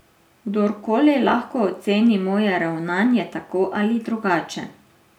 Kdorkoli lahko oceni moje ravnanje tako ali drugače.